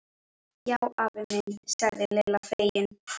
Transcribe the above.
Já afi minn sagði Lilla fegin.